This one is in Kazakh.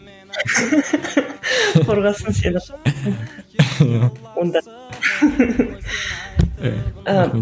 қорғасын сені онда ыыы